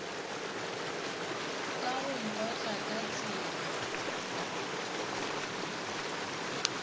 ka go nkotla ka tsela